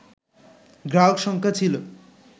গ্রাহক সংখ্যা ছিল